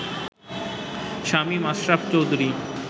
Shamim Ashraf Chowdhury